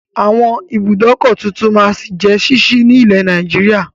Àwọn ibùdókọ̀ tuntun máa jẹ ṣíṣí ni ilẹ̀ Nàìjíríà